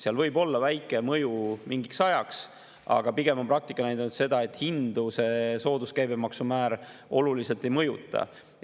Seal võib olla väike mõju mingiks ajaks, aga pigem on praktika näidanud seda, et hindu see sooduskäibemaksumäär oluliselt ei mõjuta.